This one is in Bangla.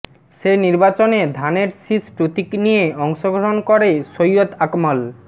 সে নির্বাচনে ধানের শীষ প্রতীক নিয়ে অংশগ্রহণ করে সৈয়দ আকমল